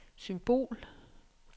symbol